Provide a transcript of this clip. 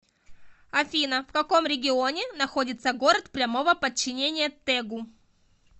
афина в каком регионе находится город прямого подчинения тэгу